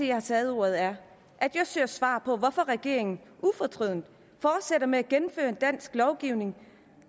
jeg har taget ordet er at jeg søger svar på hvorfor regeringen ufortrødent fortsætter med at gennemføre en dansk lovgivning